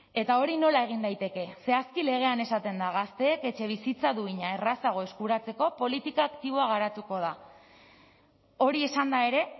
eta hori nola egin daiteke zehazki legean esaten da gazteek etxebizitza duina errazago eskuratzeko politika aktiboa garatuko da hori esanda ere